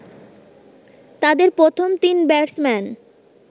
তাদের প্রথম তিন ব্যাটসম্যান